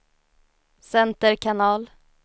center kanal